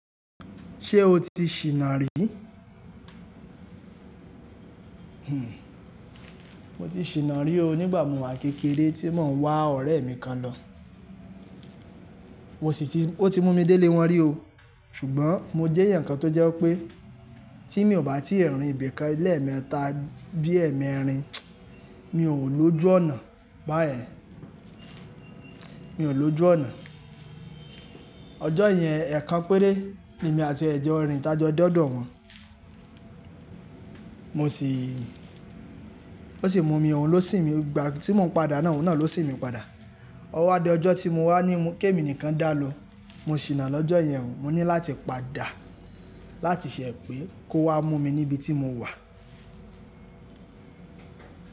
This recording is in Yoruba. Ṣé o ti ṣìna rí? Hhm, mo ti ṣìna rí o nígbà mo wá kékeré tí mo ń wá ọ̀rẹ́ mi kan lọ. Mo sí ti, ó ti mú mi délé wọn rí o, ṣùgbọ́n mo jẹ́ ẹ̀yan kan tó jẹ́ wipé tí mi ò bá ti rí ibìkan lemẹ́ta bí ẹ̀mẹẹ̀rin, mi ò lọ jù ọ̀nà. Báyèn, mi ò lọ jù ọ̀nà. Ọjọ́ yẹn, ẹ̀kan péré ni èmi àti ẹ̀ jọ rìn tájọ de odọ̀ wọn. Mo sì, ó sì mú mi, òun ló sìn mi. Ìgbà tí mò ń padà náà, òun náà ló sìn mi padà. Ọwá di ọjọ́ tí mo wá ní kémi nìkan dàlo. Mo ṣìnà lọ́jọ́ yẹn, mo ní láti padà láti ṣẹ̀ pé kó wá mú mi níbi tí mo wà.